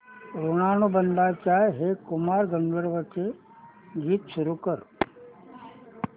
ऋणानुबंधाच्या हे कुमार गंधर्वांचे गीत सुरू कर